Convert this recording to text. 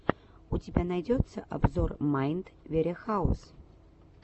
у тебя найдется обзор майнд варехаус